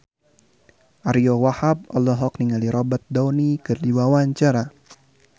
Ariyo Wahab olohok ningali Robert Downey keur diwawancara